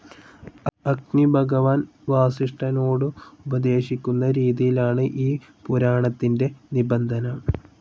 അഗ്നിഭഗവാൻ വസിഷ്ഠനോടുപദേശിക്കുന്ന രീതിയിലാണ് ഈ പുരാണത്തിന്റെ നിബന്ധനം.